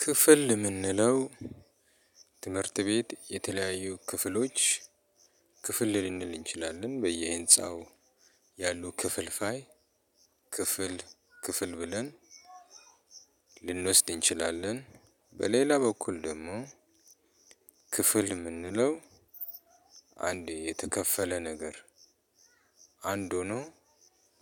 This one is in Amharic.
ክፍል እምንለው ትምህርት ቤት የተለያዩ ክፍሎች ክፍል ልንል እንችላለን። በየህንፃው ያሉ ክፍል ፋይ ክፍል ክፍል ብለን ልንወስድ እንችላለን። በሌላ በኩል ደግሞ ክፍል እምንለው አንዴ የተከፈለ ነገር አንድ ሆኖ